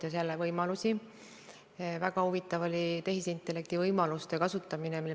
Kunas oleks võimalik näha seda suuremat plaani, kust me näeksime, kuidas Eesti on kõik selle üritusega seotud võimalused ära kasutanud?